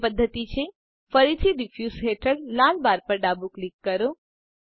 અન્ય પદ્ધતિ છે ફરીથી ડીફયુસ હેઠળ લાલ બાર પર ડાબું ક્લિક કરો